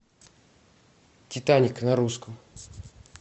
титаник на русском